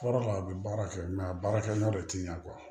Kɔrɔ la a bɛ baara kɛ a baarakɛminɛnw de ti ɲa